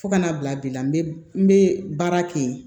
Fo ka n'a bila bi la n bɛ n bɛ baara kɛ yen